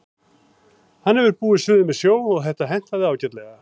Hann hefur búið suður með sjó og þetta hentaði ágætlega.